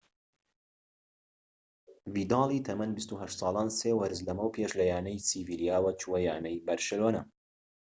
ڤیدالی تەمەن ٢٨ ساڵان سێ وەرز لەمەو پێش لەیانەی سیڤیلیاوە چووە یانەی بەرشە